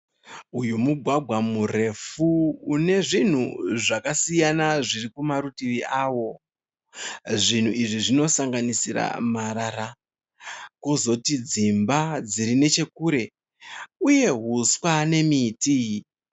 Uyu mugwagwa murefu une zvinhu zvakasiyana zviri kumarutivi avo. Zvinhu izvi zvinosanganisira marara, kozoti dzimba dziri nechekure, uye huswa nemiti.